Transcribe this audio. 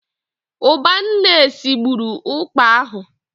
Ụbanne sigburu ụkpà ahụ.